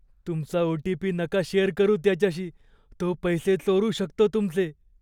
तुमचा ओ.टी.पी. नका शेअर करू त्याच्याशी. तो पैसे चोरू शकतो तुमचे.